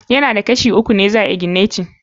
Ya na da Kashi uku ne za ayi igineti.